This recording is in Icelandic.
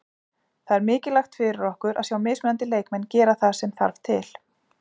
Það er mikilvægt fyrir okkur að sjá mismunandi leikmenn gera það sem þarft til.